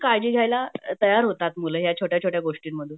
काळजी घ्यायला तयार होतात मुलं ह्या छोट्या छोट्या गोष्टींमधून